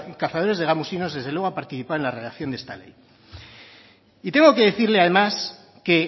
cazadores de gamusinos desde luego ha participado en la redacción de esta ley y tengo que decirle además que